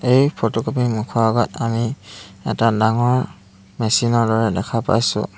এই ফটোকপি ৰ মুখৰ আগত আমি এটা ডাঙৰ মেচিন ৰ দৰে দেখা পাইছোঁ।